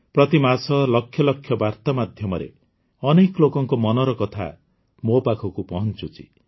ପ୍ରତି ମାସ ଲକ୍ଷ ଲକ୍ଷ ବାର୍ତା ମାଧ୍ୟମରେ ଅନେକ ଲୋକଙ୍କ ମନର କଥା ମୋ ପାଖକୁ ପହଞ୍ଚୁଛି